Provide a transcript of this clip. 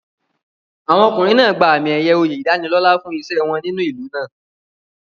Àwọn ọkùnrin náà gba àmì-ẹ̀yẹ oyè ìdánilọ́là fún iṣẹ́ wọn nínú ìlú náà.